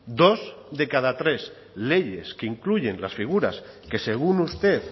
dos de cada tres leyes que incluyen las figuras que según usted